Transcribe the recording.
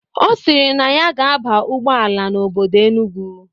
Ọ sịrị na ya ga-aba ụgbọala n'obodo Enugwu.